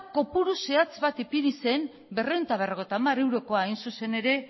kopuru zehatz bat ipini zen berrehun eta berrogeita hamar eurokoa hain zuzen ere